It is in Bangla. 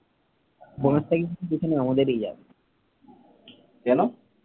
কেন?